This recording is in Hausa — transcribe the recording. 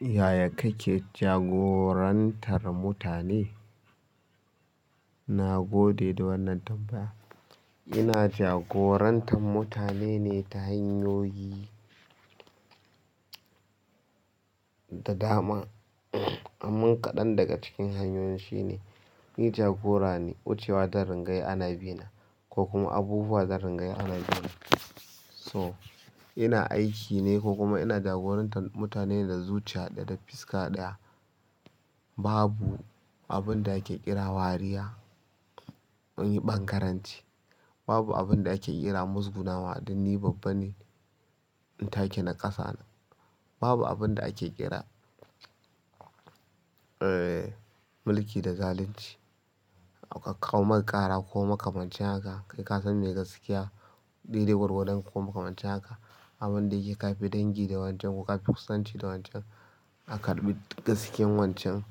Yaya kake jagorantar mutane? Na gode da wannan tambaya. Ina jagorantan mutane ne ta hanyoyi da dama. Amman kaɗan daga ciki hanyoyi shine, ni jagora ne, wucewa ta zan dingayi ko kuma abubuwa zan ringa yi ana bina, so in aiki ne ko kuma jagorantar mutane ne da zuciya, da fuska ɗaya, babu babu abunda ake kira wariya wurin bangaranci babu abin da ake kira muzgunawa, dan ni babban ne, in take na ƙasa na. Babu abin da ake kira, eh, mulki da zalunci. A kawo maka ƙara ko makamancin haka, kai ka san me gasƙiya, dai-dai gwargwadon ko maka mace haka. Abin da yake ka fi dangi da wancan ko ka fi kusanci da wancan, ka karɓi gaskiyan wancan.